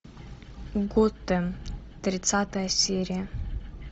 готэм тридцатая серия